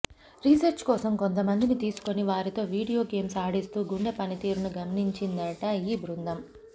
research కోసం కొంతమందిని తీసుకొని వారితో వీడియో గేమ్స్ ఆడిస్తూ గుండె పనితీరును గమనించిందట ఈ బృందం